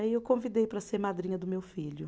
Aí eu convidei para ser madrinha do meu filho.